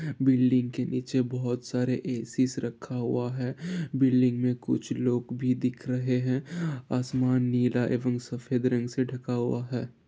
Building के नीचे बहोत सारे एसीस रखा हुआ है बिल्डिंग मैं कुछ लोग भी दिख रहे हैं आसमान नीला एवं सफ़ेद रंग से ढका हुआ है।